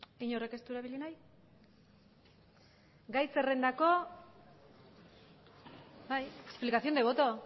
inork ez du erabili nahi bai explicación de voto